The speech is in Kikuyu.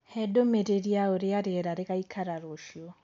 hee ndumĩriri ya ũrĩa rĩera rĩgaĩkara ruciu